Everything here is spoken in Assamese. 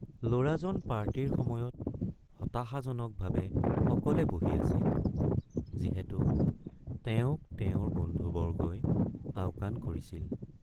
ল'ৰাজন পাৰ্টিৰ সময়ত হতাশাজনকভাৱে অকলে বহি আছিল যিহেতু তেওঁক তেওঁৰ বন্ধুবৰ্গই আওকাণ কৰিছিল।